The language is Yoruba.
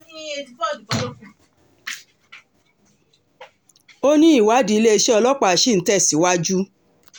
ó ní ìwádìí iléeṣẹ́ ọlọ́pàá ṣì ń tẹ̀síwájú